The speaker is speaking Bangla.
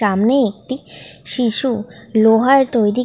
সামনে একটি শিশু লোহার তৈরী--